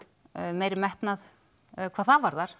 meiri metnað hvað það varðar